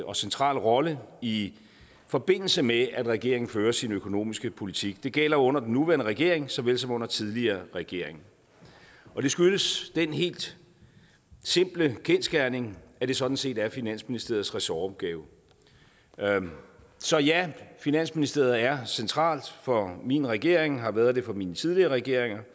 og central rolle i forbindelse med at regeringen fører sin økonomiske politik det gælder under den nuværende regering så vel som under tidligere regeringer det skyldes den helt simple kendsgerning at det sådan set er finansministeriets ressortopgave så ja finansministeriet er centralt for min regering og har været det for mine tidligere regeringer